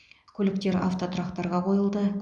көліктер автотұрақтарға қойылды